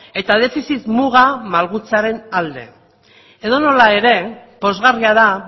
eta defizit muga malgutzearen alde edonola ere pozgarria da